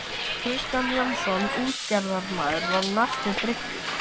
Kristján Jónsson útgerðarmaður var á næstu bryggju.